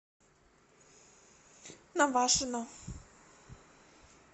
навашино